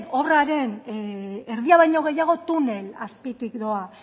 obraren erdia baino gehiago tunel azpitik doa